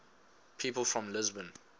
people from lisbon